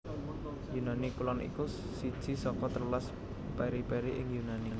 Yunani Kulon iku siji saka telulas periphery ing Yunani